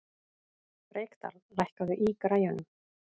Reykdal, lækkaðu í græjunum.